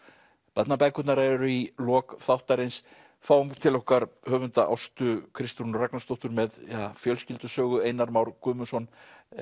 barnabækurnar eru í lok þáttarins fáum til okkar höfunda Ástu Kristrúnu Ragnarsdóttur með fjölskyldusögu Einar Már Guðmundsson